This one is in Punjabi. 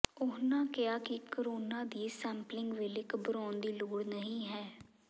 ਉਨ੍ਹਾਂ ਕਿਹਾ ਕਿ ਕੋਰੋਨਾ ਦੀ ਸੈਪਲਿੰਗ ਵੇਲੇ ਘਬਰਾਉਣ ਦੀ ਲੋੜ ਨਹੀਂ ਹੈ